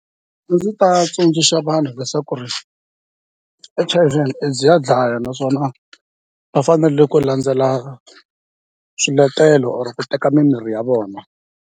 A ndzi ta tsundzuxa vanhu leswaku ri H_I_V and AIDS ya dlaya naswona va fanele ku landzela swiletelo or ku teka mimirhi ya vona.